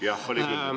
Jah, oli küll.